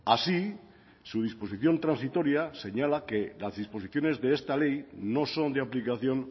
así su disposición transitoria señala que las disposiciones de esta ley no son de aplicación